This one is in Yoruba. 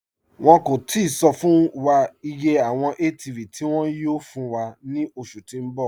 Wọn kò tìí sọ̀ fún wà iye awọn ATV tí wọn yóò fún wà ni oṣù tí n bọ̀.